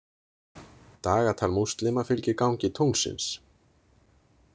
Dagatal múslima fylgir gangi tunglsins.